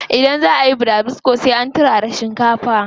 Idan zaa ayi burabusko sai an turara shinkafa.